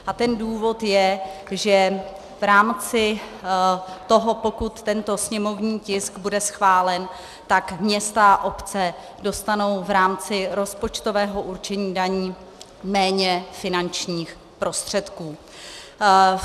A ten důvod je, že v rámci toho, pokud tento sněmovní tisk bude schválen, tak města a obce dostanou v rámci rozpočtového určení daní méně finančních prostředků.